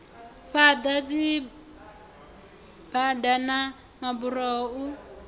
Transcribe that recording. fhaḓa dzibada na maburoho u